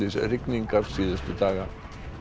úrhellisrigningar síðustu daga